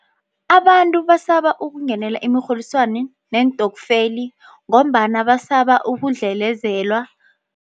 Abantu basaba ukungenela imirholiswano neentokfela ngombana basaba ukudlelezelwa.